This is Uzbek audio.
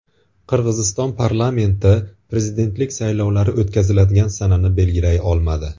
Qirg‘iziston parlamenti prezidentlik saylovlari o‘tkaziladigan sanani belgilay olmadi.